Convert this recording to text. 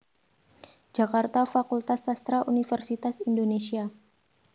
Jakarta Fakultas Sastra Universitas Indonesia